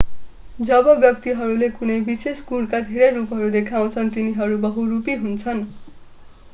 जब व्यक्तिहरूले कुनै विशेष गुणका धेरै रूपहरू देखाउँछन् तिनीहरू बहुरूपी हुन्छन्